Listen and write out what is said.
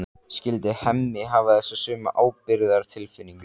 Skyldi Hemmi hafa þessa sömu ábyrgðartilfinningu?